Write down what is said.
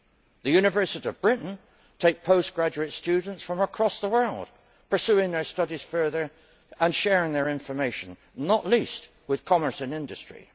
The universities of Britain take postgraduate students from across the world, pursuing their studies further and sharing their information, not least with commerce and industry.